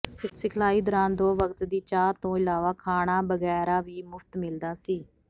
ਸਿਖਲਾਈ ਦੌਰਾਨ ਦੋ ਵਕਤ ਦੀ ਚਾਹ ਤੋਂ ਇਲਾਵਾ ਖਾਣਾ ਬਗ਼ੈਰਾ ਵੀ ਮੁਫ਼ਤ ਮਿਲਦਾ ਸੀ